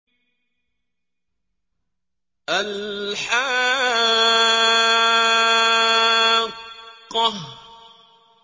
الْحَاقَّةُ